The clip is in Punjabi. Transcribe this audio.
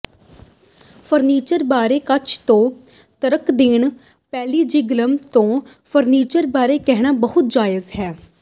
ਫਰਨੀਚਰ ਬਾਰੇ ਕੱਚ ਤੋਂ ਤਰਕ ਦੇਣਾ ਪੈਲੇਜੀਗਲਸ ਤੋਂ ਫਰਨੀਚਰ ਬਾਰੇ ਕਹਿਣਾ ਬਹੁਤ ਜਾਇਜ਼ ਹੈ